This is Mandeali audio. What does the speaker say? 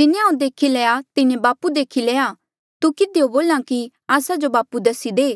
जिन्हें हांऊँ देखी लया तिन्हें बापू देखी लया तू किधियो बोल्हा कि आस्सा जो बापू दसी दे